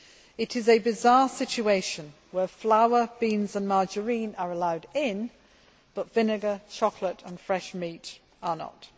It is a bizarre situation where flour, beans and margarine are allowed in but vinegar, chocolate and fresh meat are not.